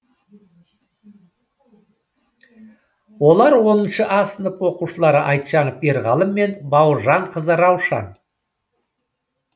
олар оныншы а сынып оқушылары айтжанов ерғалым мен бауыржанқызы раушан